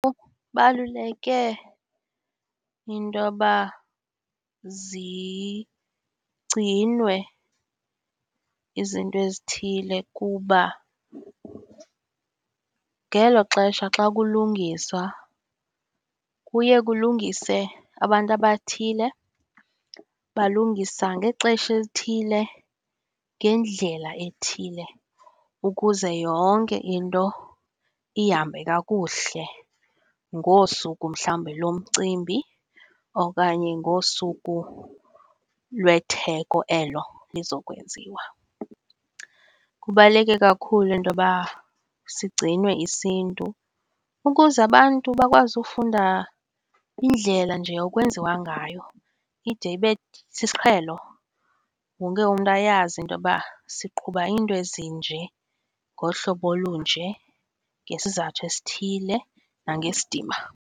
into yoba zigcinwe izinto ezithile kuba ngelo xesha xa kulungiswa kuye kulungise abantu abathile, balungisa ngexesha elithile, ngendlela ethile ukuze yonke into ihambe kakuhle ngosuku mhlawumbe lomcimbi okanye ngosuku lwetheko elo lizokwenziwa. Kubaluleke kakhulu intoba sigcinwe isiNtu ukuze abantu bakwazi ufunda indlela nje okwenziwa ngayo, ide ibe sisiqhelo, wonke umntu ayazi intoba siqhuba iinto ezinje, ngohlobo olunje, ngesizathu esithile nangesidima.